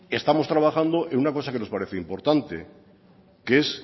estamos trabajando en una cosa que nos parece importante que es